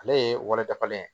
Ale ye walan dafalen ye